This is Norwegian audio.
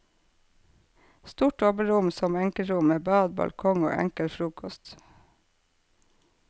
Stort dobbeltrom som enkeltrom, med bad, balkong og enkel frokost.